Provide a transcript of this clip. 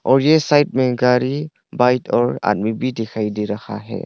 और यह साइड में गाड़ी बाइक और आदमी भी दिखाई दे रहा है।